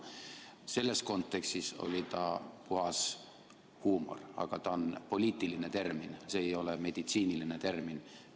Selles kontekstis oli ta puhas huumor, aga see on poliitiline termin, see ei ole meditsiiniline termin.